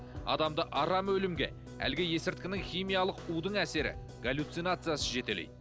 адамды арам өлімге әлгі есірткінің химиялық удың әсері галюцинациясы жетелейді